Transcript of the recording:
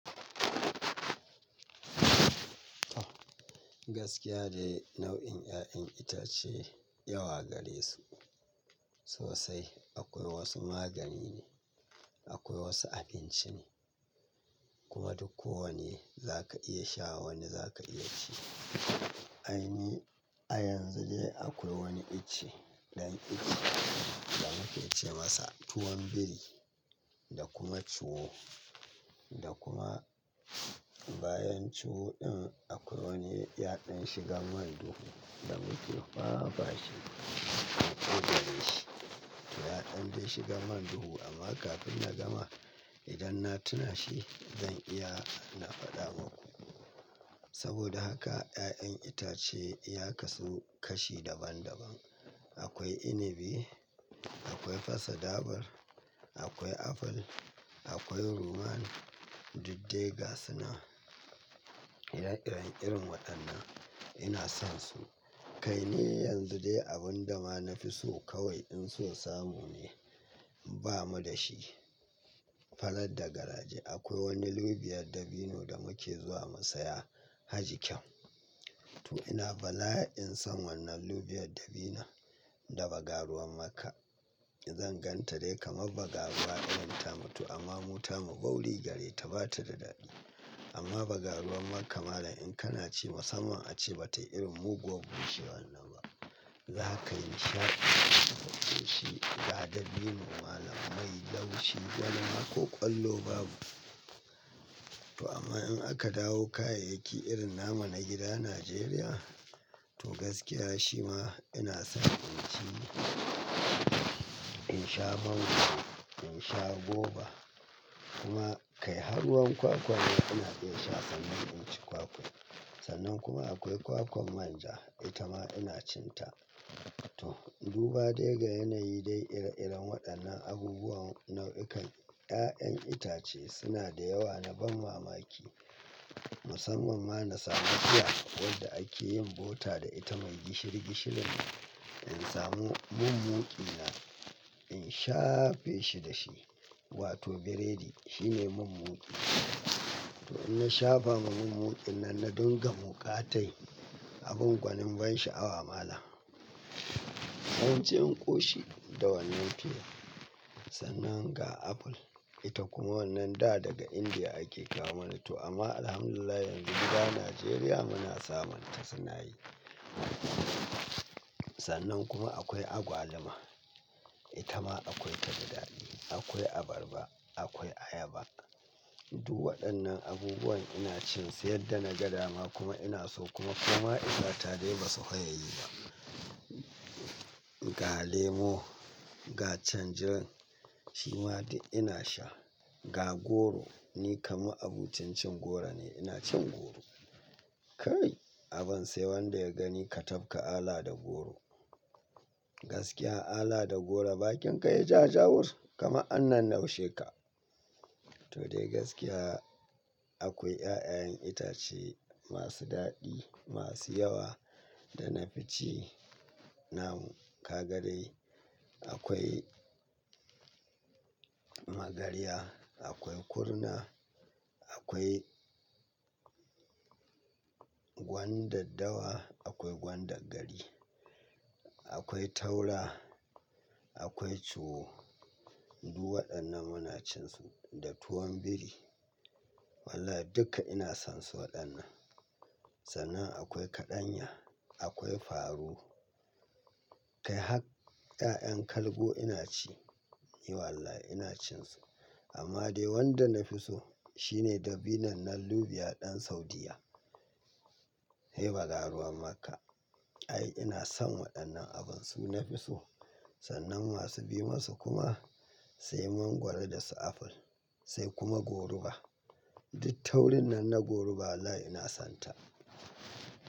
Gaskiya dai nau'in 'ya'yan itace yawa gare su. Sosai akwai wasu magani ne, akwai wasu abinci ne. Kuma duk kowane zaka iya sha wani zaka iya ci. A yanzu dai akwai wani ice ɗan ice da muke ce masa tuwon biri da kuma ciwo. Da kuma bayan ciwo in akwai wani yaɗan shigan man duhu da muke fafashi an ƙudare shi. Yaɗan dai shigan man duhu amma kafin na gama idan na tuna shi zan iya na faɗa maku. Saboda haka 'ya'yan itace ya kasu kashi daban daban. Akwai inibi, akwai fasa dabar, akwai aful, akwai ruwan, duk dai ga suna. Ire-iren irin waɗannan ina son su. Kai ne yanzu dai abin da ma na fi so kawai in so samu ne ba mu da shi. Farar da garaje akwai wani lubiyar dabino da muke zuwa musaya haji kyan. To ina bala'a in son wannan lubiyar dabina da bagaruwan maka. In zan gan ta dai kamar bagaruwa irin tamu to amma mu tamu wauri gare ta ba ta da daɗi. Amma bagaruwan makka malam in kana ci musamman ace batayi irin muguwar bushewan nan ba. Za ka yi nishaɗi idan ka gan shi. Ga dabino malam mai laushi wani ma ko ƙwallo babu. To amma in aka dawo kayayyaki irin namu na gida Najeriya to gaskiya shi ma ina son in ci, in sha mangro, in sha goba. Kuma kai har ruwan kwakwa ma ina iya sha sannan in ci kwakwan. Sannan kuma akwai kwakwan manja ita ma ina cin ta. To duba dai ga yanayi dai ire-iren waɗannan abubuwan nau'ikan 'ya'yan itace suna da yawa na ban mamaki. Musamman ma na samu piya wadda ake yin bota da ita mai gishiri gishirin ne. In samu mun muƙi na in shafe shi da shi wato biredi shine mun muƙi. To in na shafa ma mun muƙin nan na ɗinga muƙa tai abin gwanin ban sha'awa malam. Zan ci in ƙoshi da wannan fiyar. Sannan ga apple ita kuma wannan da daga Indiya ake kawo mana to amma alhamdulillah yanzu gida Najeriya muna samun ta suna yi. Sannan kuma akwai agwaluma. Ita ma akwai ta da daɗi. Akwai abarba, akwai ayaba. Duk waɗannan abubuwan ina cin su yadda na ga dama kuma ina so kuma kuma isa ta dai ba su fiye yi ba. Ga lemo, ga tanjirin shi ma duk ina sha. Ga goro ni kam ma abocin cin goro ne ina cin goro. Kai abun sai wanda ya gani ka tafka ala da goro. Gaskiya ala da goro bakinka yayi ja-jawur kamar an nan naushe ka. To dai gaskiya akwai 'ya'yayen itace masu daɗi masu yawa da na fi ci. Namu kagarai akwai magarya, akwai kurna, akwai gwandaddawa, akwai gwandaggari, akwai taura, akwai ciwo. Duk waɗannan muna cin su da tuwon biri. Wallahi dukka ina son su waɗannan. Sannan akwai kaɗanya, akwai faru. Kai hak 'ya'yan kalgo ina ci. Eh wallahi ina cin su. Amma dai wanda na fi so shine dabinan nan lubiya ɗan Saudiyya. Se bagaruwan makka ai ina son waɗannan abun su na fi so. Sannan masu bi masu kuma sai mangwaro da su apple sai kuma goruba. Duk taurin nan na goruba wallahi ina son ta.